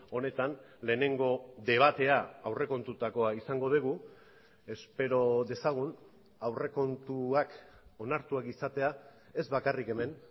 honetan lehenengo debatea aurrekontutakoa izango dugu espero dezagun aurrekontuak onartuak izatea ez bakarrik hemen